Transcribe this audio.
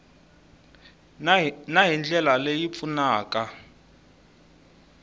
na hi ndlela leyi pfunaka